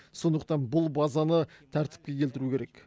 сондықтан бұл базаны тәртіпке келтіру керек